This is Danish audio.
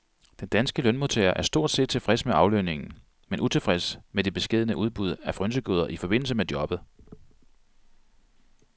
Den danske lønmodtager er stort set tilfreds med aflønningen, men utilfreds med det beskedne udbud af frynsegoder i forbindelse med jobbet.